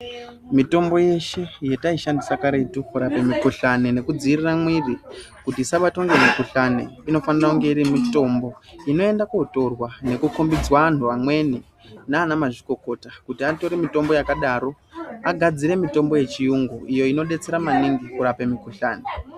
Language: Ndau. Mitombo yeshe, yetaishandisa karetu kurape mikhuhlani nekudziirira mwiri, kuti isabatwa ngemukhuhlani, inofanira kunge iri mitombo, inoenda kootorwa nekukhombidzwa anhu amweni, naanamazvikokota kuti atore mitombo yakadaro, agadzire mitombo yechiyungu, iyo inodetsera maningi kurape mikhuhlani.